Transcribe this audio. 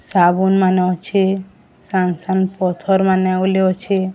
ସାବୁନ୍ ମାନ ଅଛି ସ୍ୟାଙ୍ଗସନ୍ ପଥର ମାନେ ବୋଲି ଅଛି।